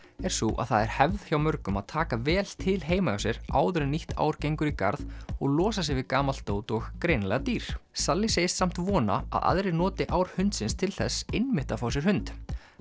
er sú að það er hefð hjá mörgum að taka vel til heima hjá sér áður en nýtt ár gengur í garð og losa sig við gamalt dót og greinilega dýr sally segist samt vona að aðrir noti ár hundsins til þess einmitt að fá sér hund